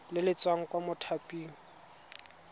le le tswang kwa mothaping